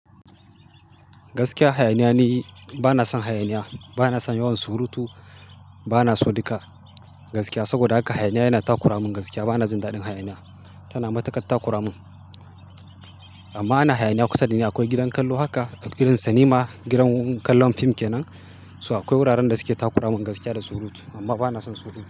Gaskiya, hayaniya ni bana son hayaniya. Bana son yawan surutu. Bana so duka gaskiya, saboda haka hayaniya yana takura mun gaskiya. Bana jin daɗin hayaniya, tana matukar ta kura min. Amma ana hayaniya kusa dani akwai gidan kallo, haka gidan sinima, gidan kallon fim kenan. Toh, akwai wuraren da suke takura min gaskiya da surutu, amma bana son surutu.